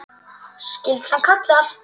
Skyldan kallar!